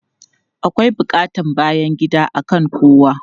Akwai buƙatan bayan gida akan kowa.